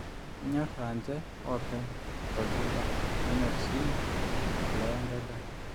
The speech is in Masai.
enyor aanje oopeny tolchamba nenyor sii eshula wenkai daa